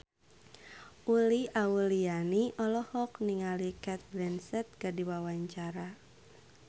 Uli Auliani olohok ningali Cate Blanchett keur diwawancara